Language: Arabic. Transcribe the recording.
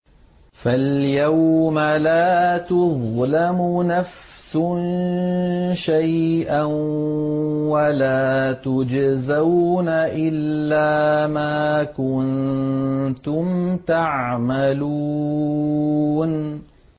فَالْيَوْمَ لَا تُظْلَمُ نَفْسٌ شَيْئًا وَلَا تُجْزَوْنَ إِلَّا مَا كُنتُمْ تَعْمَلُونَ